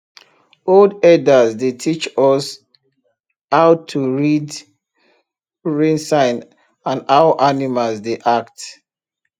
old herders dey teach us how to read rain sign and how animals dey act